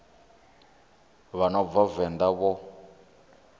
vha no bva venḓa vho